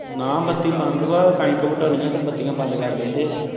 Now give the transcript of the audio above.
ਨਾ ਬਾਤੀ ਬੰਦ ਵਾ ਕਣਕ ਵਡਾਨੀ ਆ ਤੇ ਬਾਤੀ ਬੰਦ ਕਰ ਦੇਂਦੇ